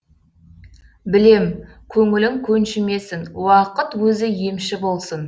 білем көңлің көншімесін уақыт өзі емші босын